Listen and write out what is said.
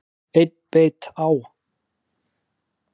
Einn beit á.